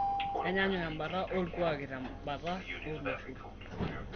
Keenyanyuk embata olkuaaki te mbata oo loshon